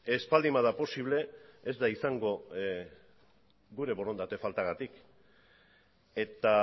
ez baldin bada posible ez da izango gure borondate faltagatik eta